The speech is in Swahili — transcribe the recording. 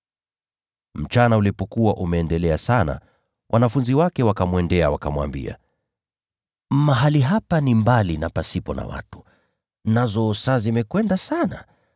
Mchana ulipokuwa umeendelea sana, wanafunzi wake walienda kwake, wakamwambia, “Mahali hapa ni nyikani, nazo saa zimekwenda sana.